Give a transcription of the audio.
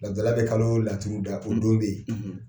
Laturu da la bɛ kalo laturu da, , o don bɛ yen,